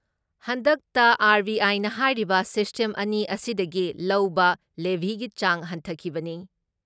ꯍꯟꯗꯛꯇ ꯑꯥꯔ.ꯕꯤ.ꯑꯥꯏꯅ ꯍꯥꯏꯔꯤꯕ ꯁꯤꯁꯇꯦꯝ ꯑꯅꯤ ꯑꯁꯤꯗꯒꯤ ꯂꯧꯕ ꯂꯦꯚꯤꯒꯤ ꯆꯥꯡ ꯍꯟꯊꯈꯤꯕꯅꯤ ꯫